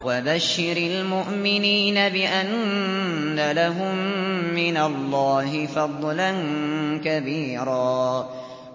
وَبَشِّرِ الْمُؤْمِنِينَ بِأَنَّ لَهُم مِّنَ اللَّهِ فَضْلًا كَبِيرًا